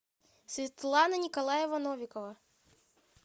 светлана николаева новикова